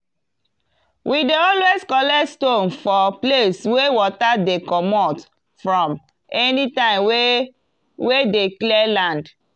we dey always collect stone for place wey water dey comot from anytime wey wey dey clear land.